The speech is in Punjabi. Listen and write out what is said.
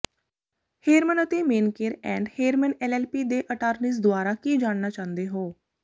ਹੇਰਮਨ ਅਤੇ ਮੇਨਕੇਰ ਐਂਡ ਹੇਰਮਨ ਐਲਐਲਪੀ ਦੇ ਅਟਾਰਨੀਜ਼ ਦੁਆਰਾ ਕੀ ਜਾਣਨਾ ਚਾਹੁੰਦੇ ਹੋ